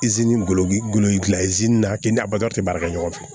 ngolo golo gilan na k'i ni abada tɛ baara kɛ ɲɔgɔn fɛ